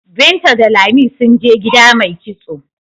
Binta da Lami sun je gida mai kitso.